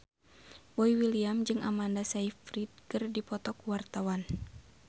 Boy William jeung Amanda Sayfried keur dipoto ku wartawan